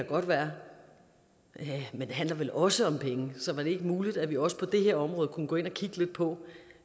godt være men det handler vel også om penge så var det ikke muligt at vi også på det her område kunne gå ind og kigge lidt på